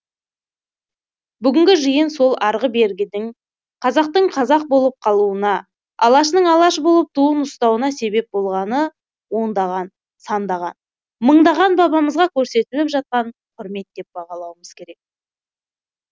бүгінгі жиын сол арғы бергідегі қазақтың қазақ болып қалуына алаштың алаш болып туын ұстауына себеп болғаны ондаған сандаған мыңдаған бабамызға көрсетіліп жатқан құрмет деп бағалауымыз керек